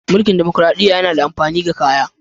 Munkil damakaraɗiya yana da amafini ga kaya.